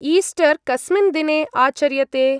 Easter कस्मिन् दिने आचर्यते?